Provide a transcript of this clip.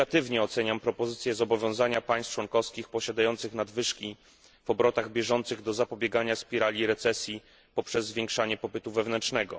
Negatywnie oceniam propozycję zobowiązania państw członkowskich posiadających nadwyżki w obrotach bieżących do zapobiegania spirali recesji poprzez zwiększanie popytu wewnętrznego.